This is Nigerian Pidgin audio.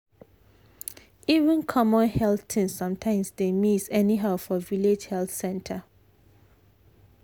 even common health things sometimes dey miss anyhow for village health center.